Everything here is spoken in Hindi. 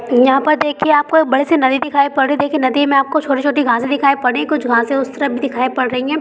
यहां पर देखिए आपको एक बड़ी-सी नदी दिखाई पड़ रही है नदी में आपको छोटी-छोटी घासे दिखाई पड़ रही है कुछ घासे उस तरफ भी दिखाई पड़ रही है ।